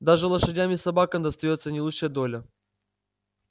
даже лошадям и собакам достаётся не лучшая доля